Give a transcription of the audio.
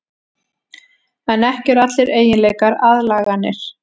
En ekki eru allir eiginleikar aðlaganir.